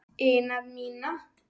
ina mína.